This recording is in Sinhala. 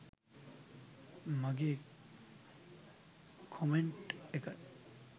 මගේ කොමෙන්ට් එක